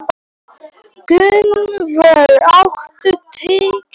Gunnvör, áttu tyggjó?